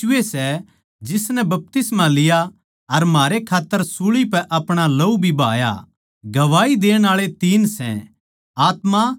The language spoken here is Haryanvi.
गवाही देण आळे तीन सै